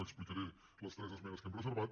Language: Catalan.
explicaré les tres esmenes que hem reservat